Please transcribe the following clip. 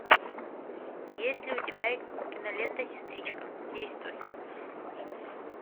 есть ли у тебя кинолента сестричка действуй